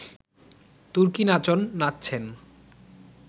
তুর্কি-নাচন নাচছেন